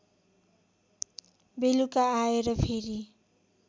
बेलुका आएर फेरि